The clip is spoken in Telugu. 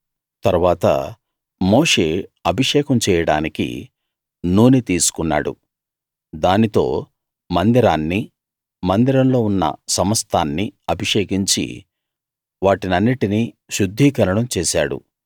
తరువాత మోషే అభిషేకం చేయడానికి నూనె తీసుకున్నాడు దానితో మందిరాన్నీ మందిరంలో ఉన్న సమస్తాన్నీ అభిషేకించి వాటినన్నిటినీ శుద్ధీకరణం చేశాడు